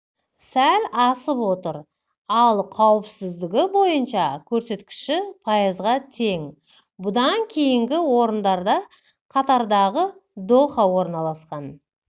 сәл асып отыр ал қауіпсіздігі бойынша көрсеткіші пайызға тең бұдан кейінгі орындарда катардағы доха орналасқан